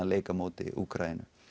leik á móti Úkraínu